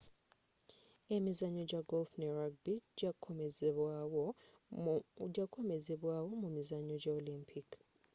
emizannyo ja golf ne rubgy gya kukomezebwa wo mu mizannyo gya olympic